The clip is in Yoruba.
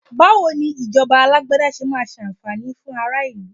Bawo ni ìjọba Alágbádá ṣe máa ṣàǹfààní fún ara ìlú